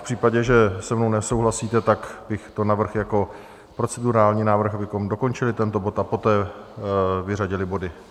V případě, že se mnou nesouhlasíte, tak bych to navrhl jako procedurální návrh, abychom dokončili tento bod a poté vyřadili body.